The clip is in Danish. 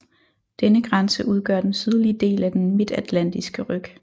Denne grænse udgør den sydlige del af den Midtatlantiske ryg